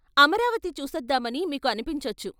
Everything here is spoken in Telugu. అమరావతి చూసొద్దామని మీకు అనిపించొచ్చు.